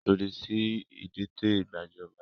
Lòdì sí ìdìtẹ̀ gbajọba!